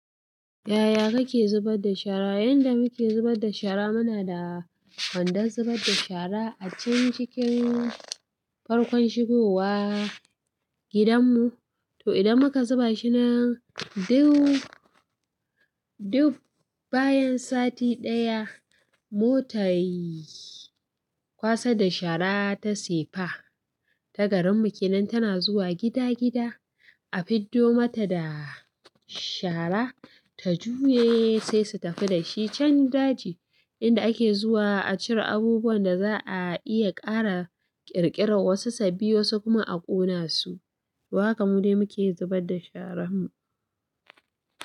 Yaya kake zubar da shara? Yanda muke zubar da shara muna da kwandon zubar da shara a can cikin farkon shigowa gidan mu. To idan muka zuba shi nan duk, duk bayan sati ɗaya motar kwasar da shara ta sefa ta garin mu kenan tana zuwa gida gida a fiddo mata da shara ta juye sai su tafi da shi can daji inda ake zuwa a cire abubuwan da za'a iya ƙara ƙirƙirar wasu sabbi wasu kuma a ƙona su. Toh haka mu dai muke zubar da sharan mu.